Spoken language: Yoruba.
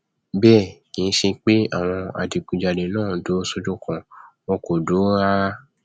bẹẹ kì í ṣe pé àwọn adigunjalè náà dúró sójú kan wọn kò dúró rárá